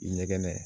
I ɲɛgɛnɛ